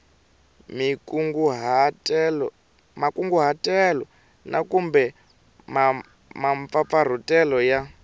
makunguhatelo na kumbe mampfampfarhutelo ya